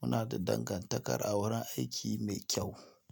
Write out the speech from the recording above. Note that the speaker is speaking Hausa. Muna da dangantakar a wurin aiki mai kyau.